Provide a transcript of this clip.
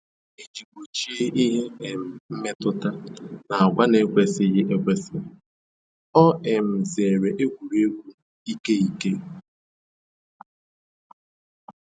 Iji gbochie ihe um mmetụta na agwa na-ekwesịghị ekwesị, o um zeere egwuregwu ike ike